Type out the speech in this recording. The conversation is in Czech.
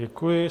Děkuji.